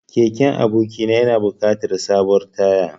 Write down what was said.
Keken abokina yana buƙatar sabuwar taya.